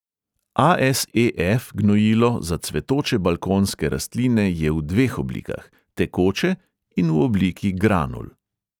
A|es|e|ef gnojilo za cvetoče balkonske rastline je v dveh oblikah: tekoče in v obliki granul.